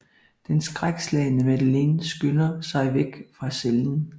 Den skrækslagne Madeleine skynder sig væk fra cellen